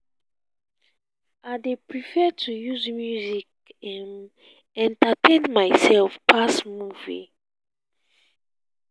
i dey prefer to use music um entertain mysef dan movie.